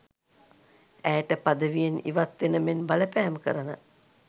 ඇයට පදවියෙන් ඉවත් වෙන මෙන් බලපෑම් කරන